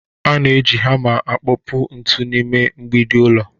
A na-eji hama akpụkpọ ntu n’ime mgbidi ụlọ